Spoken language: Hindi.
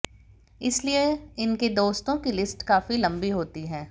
इसलिए इनके दोस्तों की लिस्ट काफी लंबी होती है